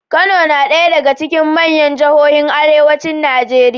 Kano na ɗaya daga cikin manyan jihohin arewacin Najeriya.